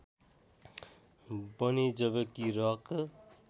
बने जबकि रक